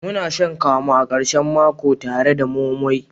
Muna shan kamu a karshen mako tare da moi moi.